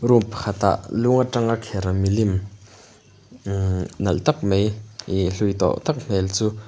room pakhat ah lung a tang a kher milim mhh nalh tak mai ihh hlui tawk tak hmel chu--